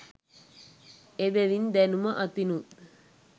එබැවින් දැනුම අතිනුත්,